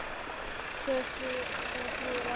Tvö, þrjú eða fjögur ár?